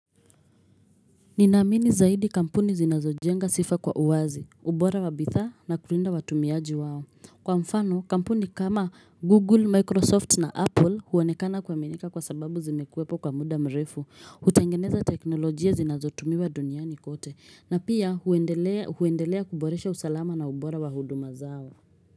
Ninamini zaidi kampuni zinazojenga sifa kwa uwazi, ubora wa bidhaa na kulinda watumiaji wao. Kwa mfano, kampuni kama Google, Microsoft na Apple huonekana kuaminika kwa sababu zimekuwepo kwa muda mrefu. Hutangeneza teknolojia zinazotumiwa duniani kote, na pia huendelea kuboresha usalama na ubora wa huduma zao.